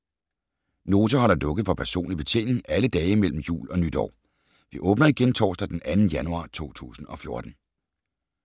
Nota holder lukket for personlig betjening alle dage mellem jul og nytår. Vi åbner igen torsdag den 2. januar 2014.